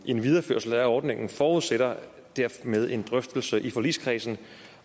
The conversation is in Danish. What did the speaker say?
en videreførelse af ordningen forudsætter dermed en drøftelse i forligskredsen